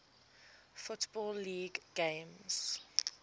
football league games